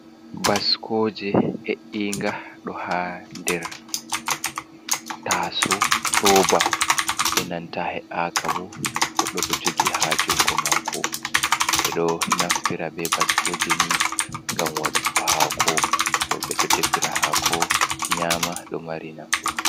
Baskooje he'inga ɗo haa nder taasawo, rooba e nanta he'aaka bo goɗɗo ɗo jogii haa jungo maako, ɓe ɗo naftira be bascooje ni ngam waɗugo haako, rooɓe ɗo defira haako, nyama ɗo mari nafu.